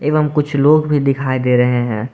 एवंम कुछ लोग भी दिखाई दे रहे हैं।